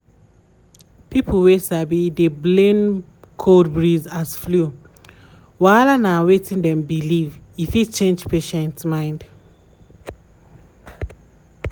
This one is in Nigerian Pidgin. um pipo sabi dey blame cold breeze as flu wahala na wetin dem believe um e fit change patient um mind.